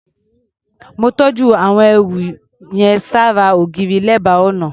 Mó tọ́jú àwọn ẹrù yẹn ṣára ògiri, lẹ́bàá ọnà.